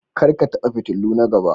Kar ka taba fitiluna gaba